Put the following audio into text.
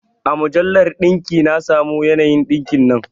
A mujallar ɗinki na samo yanayin ɗinkin nan